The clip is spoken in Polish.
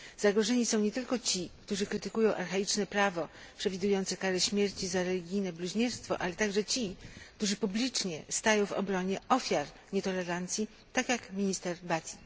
Zagrożeni są nie tylko ci, którzy krytykują archaiczne prawo przewidujące karę śmierci za religijne bluźnierstwo, ale także ci, którzy stają publicznie w obronie ofiar nietolerancji, tak jak minister Bhatti.